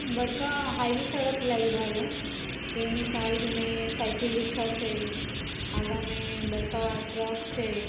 ई बड़का हाईवे सड़क लाइरहल है जेमी साइड में साइकिल रिक्शा छे आगामे बड़का ट्रक छे।